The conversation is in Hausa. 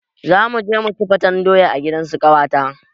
Zamuje muci faten doya a gidansu ƙawata